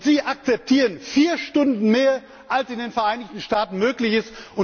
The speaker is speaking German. Sie akzeptieren vier Stunden mehr, als in den Vereinigten Staaten möglich ist!